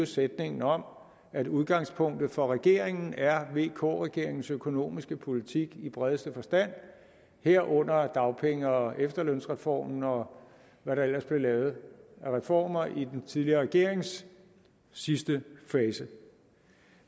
sætningen om at udgangspunktet for regeringen er vk regeringens økonomiske politik i bredeste forstand herunder dagpenge og efterlønsreformen og hvad der ellers blev lavet af reformer i den tidligere regerings sidste fase